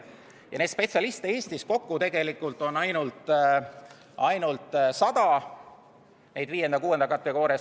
Neid 5.–6. kategooria spetsialiste on Eestis kokku tegelikult ainult 100, objekte – kordan veel kord – on 10 000.